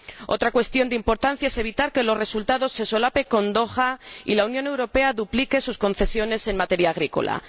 Otra cuestión de importancia es evitar que los resultados se solapen con Doha y la Unión Europea duplique sus concesiones en materia agrícola.